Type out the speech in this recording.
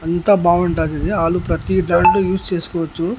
అంతా బాగుంటాది ఇది ఆలు ప్రతి దాంట్లో యూస్ చేసుకోవచ్చు.